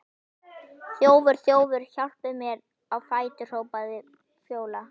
Þjófur, þjófur, hjálpið þið mér á fætur, hrópar Fjóla.